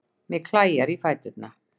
Mig klæjar í fæturna.